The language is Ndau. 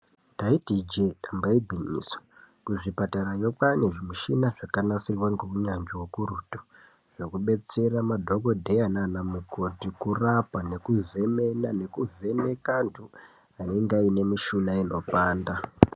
Ndaiti ijee damba igwinyiso, kuzvipatarayo kwaane zvimushina zvakanasirwa ngeunyanzvi ukurutu, zvokubetsera madhokodheya naanamukoti ,kurapa nekuzemena, nekuvheneka antu ,anenga aine mishuna inopanda.